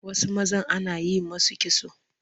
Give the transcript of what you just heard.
Wasu mazan ana yi musu kitso